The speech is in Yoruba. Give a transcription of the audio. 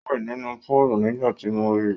Ó ń wẹ̀ nínú púúlù nígbà tí mo ri.